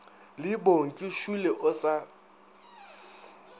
le bongi šole o sa